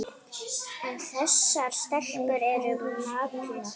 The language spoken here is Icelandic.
En þessar stelpur eru naglar.